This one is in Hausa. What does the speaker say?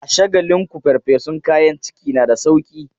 A Shagalinku farfesun kayan ciki na da sauki.